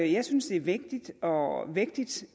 jeg synes det er vigtigt og vægtigt